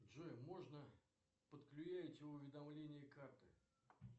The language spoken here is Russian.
джой можно подклюеить уведомление карты